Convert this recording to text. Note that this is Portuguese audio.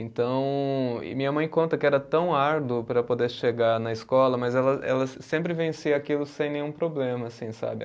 Então, e minha mãe conta que era tão árduo para poder chegar na escola, mas ela ela sempre vencia aquilo sem nenhum problema, assim, sabe?